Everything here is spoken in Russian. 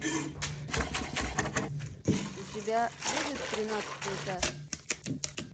у тебя будет тринадцатый этаж